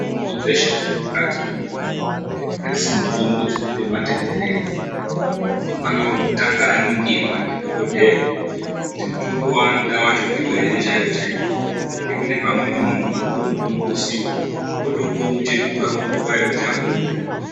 Mitombo dzeshe dzemukati mwemuntu adzisi mutombo dzekundobate bherera muntu unofane kutanga aningirwa ndidhokodheya kuti mutombo waanoda wacho ndiwo chaiwo chaiwo ngekuti pamweni munhu unopuwe mutombo usiwo otopuwe muchetura panguwa yekuti apuwe mutombo.